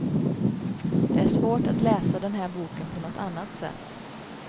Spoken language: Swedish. Det är svårt att läsa den här boken på något annat sätt.